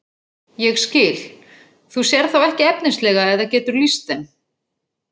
Ég skil, þú sérð þá ekki efnislega eða getur lýst þeim?